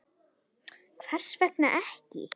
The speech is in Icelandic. Brynja: Hvers vegna ekki?